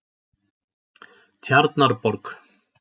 Tjarnarborg